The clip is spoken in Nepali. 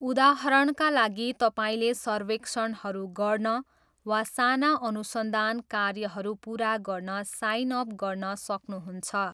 उदाहरणका लागि तपाईँले सर्वेक्षणहरू गर्न वा साना अनुसन्धान कार्यहरू पुरा गर्न साइन अप गर्न सक्नुहुन्छ।